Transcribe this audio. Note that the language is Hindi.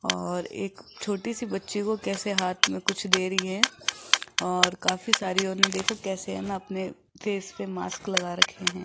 और एक छोटे सी बच्ची को कैसे हाथ में कुछ दे रही है और काफी सारी और देखो कैसे है ना अपने फेस पे मास्क लगा रखे हैं।